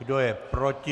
Kdo je proti?